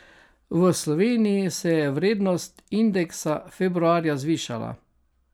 V Sloveniji se je vrednost indeksa februarja zvišala.